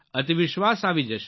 અતિ વિશ્વાસ આવી જશે